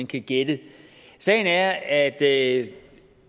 kan gætte sagen er at